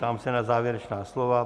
Ptám se na závěrečná slova.